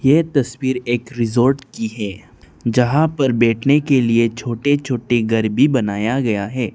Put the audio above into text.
ये तस्वीर एक रिसॉर्ट की है जहां पर बैठने के लिए छोटे छोटे घर भी बनाया गया है।